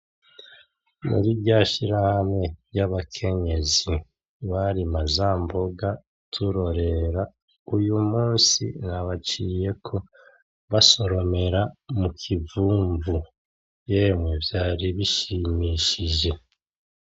Muri rya shirahamwe ry'abakenyezi barima za mboga turorera , uyu munsi nabaciyeko basoromera mukivumvu , yemwe vyari bishimishije.